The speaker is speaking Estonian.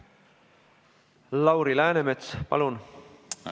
Lauri Läänemets, palun!